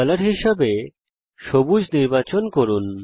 colour হিসাবে সবুজ নির্বাচন করুন